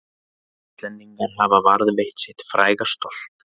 Íslendingar hafa varðveitt sitt fræga stolt